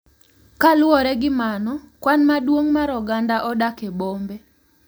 Kaluwore gi mano, kwan maduong’ mar oganda odak e bombe.